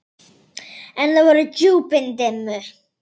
En það voru djúpin dimmu.